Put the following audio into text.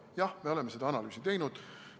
Jah, me oleme seda analüüsi teinud.